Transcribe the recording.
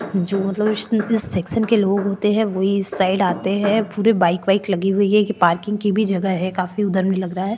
जो मतलब सेक्शन के लोग होते है वही इस साइड आते है पूरी बाइक वाईक लगी हुई है ये पार्किंग की भी जगह है काफी में लग रहा है।